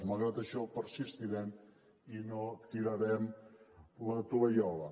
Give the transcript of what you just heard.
malgrat això persistirem i no tirarem la tovallola